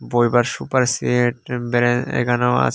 বইবার sofa র set এখানেও আছ --